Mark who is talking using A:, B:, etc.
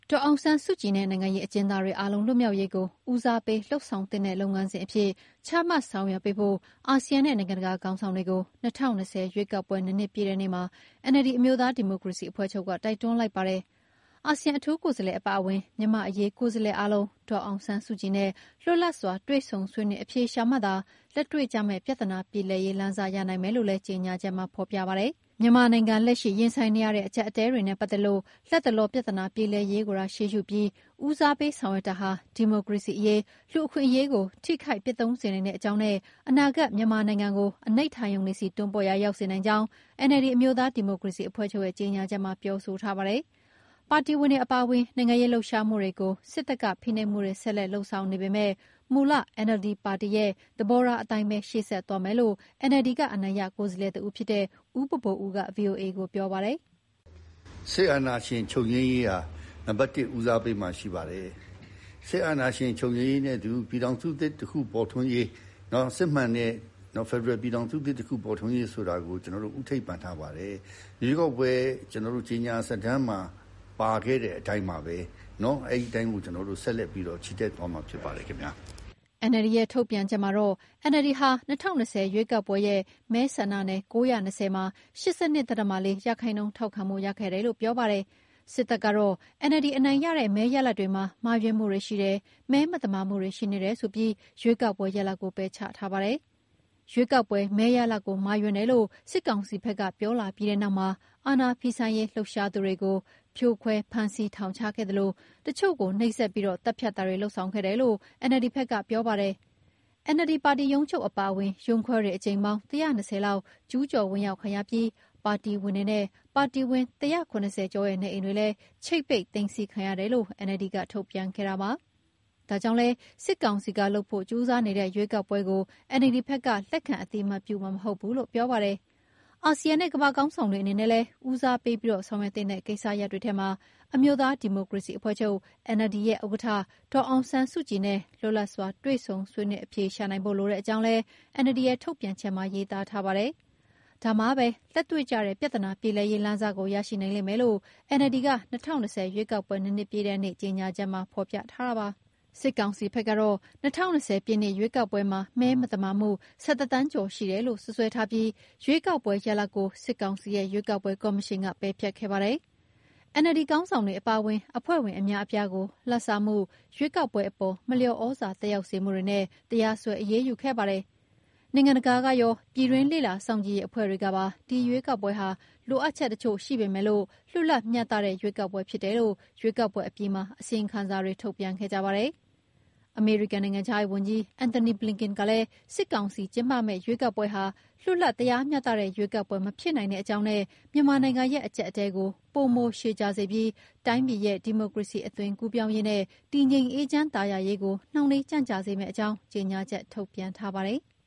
A: ဒေါ်အောင်ဆန်းစုကြည်နဲ့ နိုင်ငံရေးအကျဉ်းသားတွေ အားလုံး လွတ်မြောက်ရေးကို ဉီးစားပေး လုပ်ဆောင်သင့်တဲ့ လုပ်ငန်းစဉ်အဖြစ် ချမှတ်ဆောင်ရွက်ပေးဖို့ အာဆီယံနဲ့ နိုင်ငံတကာ ခေါင်းဆောင်တွေကို ၂၀၂၀ ရွေးကောက်ပွဲ ၂ နှစ်ပြည့်တဲ့ ဒီနေ့မှာ NLD အမျိုးသားဒီမိုကရေစီအဖွဲ့ချုပ်က တိုက်တွန်းလိုက်ပါတယ်။ အာဆီယံအထူးကိုယ်စားလှယ် အပါအဝင် မြန်မာ့အရေး ကိုယ်စားလှယ်အားလုံး ဒေါ်အောင်ဆန်းစုကြည်နဲ့ လွတ်လပ်စွာ တွေ့ဆုံ ဆွေးနွေး အဖြေရှာမှသာ လက်တွေ့ကျမယ့် ပြသနာပြေလည်ရေးလမ်းစ ရနိုင်မယ်လို့လည်း ကြေညာချက်မှာ ဖေါ်ပြပါတယ်။ မြန်မာနိုင်ငံ လက်ရှိရင်ဆိုင်နေရတဲ့ အကြပ်အတည်းတွေနဲ ပတ်သက်လို့ လတ်တလောက် ပြသာ ပြေလည်ရေးကိုသာ ရှေးရှုပြီး ဉီးစားပေးဆောင်ရွက်တာဟာ ဒီမိုကရေစီအရေး၊ လူ့အခွင့်အရေးကို ထိခိုက်၊ ပျက်သုန်းစေနိုင်တဲ့အကြောင်းနဲ့ အနာဂတ် မြန်မာနိုင်ငံကို အနိဌာရုံတွေဆီ တွန်းပို့လိုက်ရာ ရောက်စေနိုင်ကြောင်း NLD အမျိုးသားဒီမိုကရေစီအဖွဲ့ချုပ်ရဲ့ ကြေညာချက်မှာ ပြောဆိုပါတယ်။ ပါတီဝင်တွေ အပါအဝင် နိုင်ငံရေးလှုပ်ရှားမှုတွေကို စစ်တပ်က ဖိနှိပ်မှုတွေ ဆက်လက်လုပ်ဆောင်နေပေမဲ့ မူလ NLD ပါတီရဲ့ သဘောထား အတိုင်းပဲ ရှေ့ဆက်သွားမယ်လို့ NLD က အနိုင်ရ ကိုယ်စားလှယ်တဦးဖြစ်တဲ့ ဦးဘိုဘိုဦးက ဗွီအိုအေကို ပြောပါတယ်။
B: " စစ်အာဏာရှင် ချုပ်ငြိမ်းရေးဟာ နံပတ်၁ဦးစားပေးမှာ ရှိပါတယ်။ စစ်အာဏာရှင် ချုပ်ငြိမ်းရေးနဲ့အတူ ပြည်ထောင်စုသစ်တခု ပေါ်ထွန်းရေး စစ်မှန်တဲ့ ဖက်ဒရယ်ပြည်ထောင်စုသစ်တခု ပေါ်ထွန်းရေးဆိုတာကို ကျနော်တို့ ဦးထိပ်ပန်ထားပါတယ်။ ရွေးကောက်ပွဲ ကြေညာစာတမ်းမှာ ပါခဲ့တဲ့အတိုင်းပါပဲ အဲဒီအတိုင်းကို ကျနော်တို့ ဆက်လက်ပြီးတော့ ချီတက်သွားမှာ ဖြစ်ပါတယ်ခင်ဗျ။
A: " NLD ရဲ့ ဒီနေ့ထုတ်ပြန်ချက်မှာတော့ NLD ဟာ ၂၀၂၀ ရွေးကောက်ပွဲရဲ့ မဲဆန္ဒနယ် ၉၂၀ မှာ ၈၂.၄ ရာခိုင်နှုန်း ထောက်ခံမှုရခဲ့တယ်လို့ ပြောပါတယ်။ စစ်တပ်ကတော့ NLD အနိုင်ရတဲ့ မဲရလဒ်တွေမှာ မှားယွင်းမှုတွေရှိတယ်၊ မဲမသာမှုတွေ ရှိနေတယ်ဆိုပြီး ရွေးကောက်ပွဲရလဒ်ကို ပယ်ချထားပါတယ်။ ရွေးကောက်ပွဲ မဲရလဒ်ကို မှားယွင်းတယ်လို့ စစ်ကောင်စီဘက်က ပြောလာပြီးတဲ့နောက်မှာ အာဏာဖီဆန်ရေး လှုပ်ရှားသူတွေကို ဖြိုခွဲ၊ ဖမ်းဆီး၊ ထောင်ချခဲ့သလို တချို့ကို နှိပ်စက်ပြီး သတ်ဖြတ်တာတွေ လုပ်ဆောင်ခဲ့တယ်လို့ NLD ဘက်ကပြောပါတယ်။ NLD ပါတီရုံးချုပ်အပါအဝင် ရုံးခွဲတွေ အကြိမ်ပေါင်း ၁၂၀ လောက် ကျူးကျော် ဝင်ရောက် ခံရပြီး ပါတီဝင်တွေနဲ့ ပါတီဝင် ၁၇၀ ကျော်ရဲ့ နေအိမ်တွေလည်း ချိပ်ပိတ် သိမ်းဆည်းခံရတယ်လို့ NLD က ထုတ်ပြန်ခဲ့တာပါ။ ဒါကြောင့် စစ်ကောင်စီက လုပ်ဖို့ကြိုးစားနေတဲ့ ရွေးကောက်ပွဲကိုလည် NLD ဘက်က လက်ခံအသိအမှတ် ပြုမှာမဟုတ်ဘူးလို့ ပြောပါတယ်။ အာဆီယံနဲ့ ကမ္ဘာ့ခေါင်းဆောင်တွေ အနေနဲ့လည်း ဦးစားပေးပြီး ဆောင်ရွက်သင့်တဲ့ ကိစ္စရပ်တွေထဲမှာ အမျိုးသား ဒီမိုကရေစီအဖွဲ့ချုပ် NLD ရဲ့ ဥက္ကဋ္ဌ ဒေါ်အောင်ဆန်းစုကြည်နဲ့ လွတ်လပ်စွာ တွေ့ဆုံဆွေးနွေး အဖြေရှာနိုင်ရေးဖို့ လိုတဲ့အကြောင်းလည်း NLDရဲ့ ထုတ်ပြန်ချက်မှာ ရေးသားထားပါတယ်။ ဒါမှပဲ လက်တွေ့ကျတဲ့ ပြဿနာ ပြေလည်ရေး လမ်းစကို ရရှိနိုင်လိမ့်မယ်လို့ NLD က ၂၀၂၀ ရွေးကောက်ပွဲ ၂နှစ်ပြည့်တဲ့ ဒီနေ့မှာ ထုတ်ပြန်ခဲ့ပါတယ်။ စစ်ကောင်စီဘက်ကတော့ ၂၀၂၀ ပြည့်နှစ် ရွေးကောက်ပွဲမှာ မဲမသမာမှု ၁၁ သန်းကျော်ရှိတယ်လို့ စွပ်စွဲထားပြီး ရွေးကောက်ပွဲရလဒ်ကို စစ်ကောင်စီရဲ့ ရွေးကောက်ပွဲကော်မရှင်က ပယ်ဖျက်ခဲ့ပါတယ်။ NLD ခေါင်းဆောင်တွေအပါအဝင် အဖွဲ့ဝင်အများအပြားကို လဘ်စားမှု၊ ရွေးကောက်ပွဲအပေါ် မလျော် ဩဇာသက်ရောက်စေမှုတွေနဲ့ တရားစွဲ အရေးယူခဲ့ပါတယ်။ နိုင်ငံတကာကကော ပြည်တွင်း လေ့လာစောင့်ကြည့်ရေးအဖွဲ့တွေကတော့ ဒီရွေးကောက်ပွဲဟာ လိုအပ်ချက်တချို့ရှိပေမဲ့ လွတ်လပ်၊ မျှတတဲ့ ရွေးကောက်ပွဲဖြစ်တယ်လို့ ရွေးကောက်ပွဲအပြီးမှာ အစီရင်ခံစာတွေ ထုတ်ပြန်ခဲ့ကြပါတယ်။ အမေရိကန်နိုင်ငံခြားရေး Antony Blinken ကလည်း စစ်ကောင်စီကျင်းပမယ့် ရွေးကောက်ပွဲဟာ လွတ်လပ် တရားမျှတတဲ့ ရွေးကောက်ပွဲ မဖြစ်နိုင်တဲ့အကြောင်းနဲ့ မြန်မာနိုင်ငံရဲ့ အကြပ်အတည်းကို ပိုမို ရှည်ကြာ စေပြီး တိုင်းပြည်ရဲ့ ဒီမိုကရေစီ အသွင်ကူးပြောင်းရေးနဲ့ တည်ငြိမ်အေးချမ်းသာယာရေးကို နှောင့်နှေးကြန့်ကြာစေမယ့်အကြောင်း ကြေညာချက် ထုတ်ပြန်ထားပါတယ်။